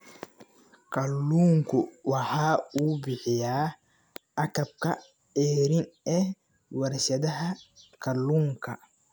Kalluunku waxa uu bixiyaa agabka ceeriin ee warshadaha kalluunka.